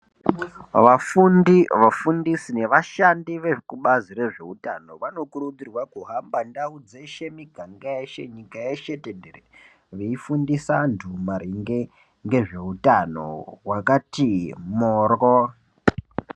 Vafundi, vafundisi nevashandi vezvekubazi rezveutano vanokurudzirwa kuhamba ndau dzeshe, miganga yeshe, nyika yeshe tenderere, veifundisa maringe ngezveutano wakati morwo.